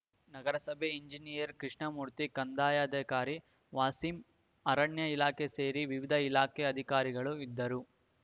ನಗರಸಭೆ ಇಂಜಿನಿಯರ್‌ ಕೃಷ್ಣಮೂರ್ತಿ ಕಂದಾಯಾಧಿಕಾರಿ ವಾಸೀಂ ಅರಣ್ಯ ಇಲಾಖೆ ಸೇರಿ ವಿವಿಧ ಇಲಾಖೆ ಅಧಿಕಾರಿಗಳು ಇದ್ದರು